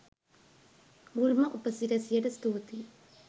මුල්ම උප සිරැසියට ස්තූතියි.